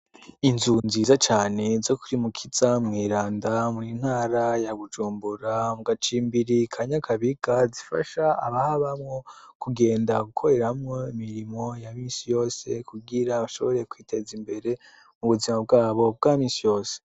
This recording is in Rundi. Inzu nziza cane zo kuri mukiza mw'eranda mw intara ya gujumbura mu gacimbirikanyakabiga zifasha abaho bamwo kugenda gukoreramwo mirimo ya misi yose kugira bashoboreye kwiteza imbere mu buzima bwabo bwamisi yose.